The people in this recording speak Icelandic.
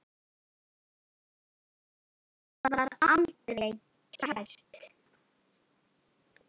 Þetta var aldrei kært.